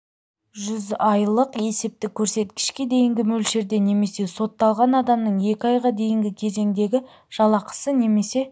жүз айлық есептік көрсеткішке дейінгі мөлшерде немесе сотталған адамның екі айға дейінгі кезеңдегі жалақысы немесе